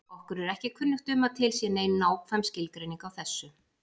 Okkur er ekki kunnugt um að til sé nein nákvæm skilgreining á þessu.